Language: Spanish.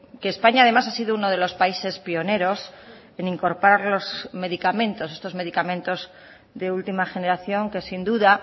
que españa además ha sido uno de los países pioneros en incorporar los medicamentos estos medicamentos de última generación que sin duda